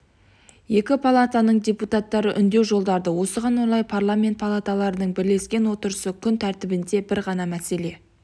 екі палатаның депутаттары үндеу жолдады осыған орай парламент палаталарының бірлескен отырысында күн тәртібінде бір ғана мәселе